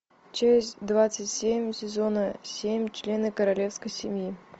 часть двадцать семь сезона семь члены королевской семьи